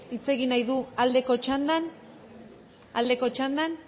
hitz egin nahi du aldeko txandan aldeko txandan